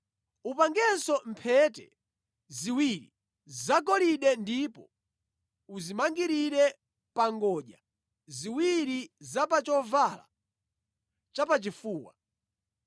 Upangenso mphete ziwiri zagolide ndipo uzimangirire pa ngodya ziwiri za pa chovala chapachifuwa.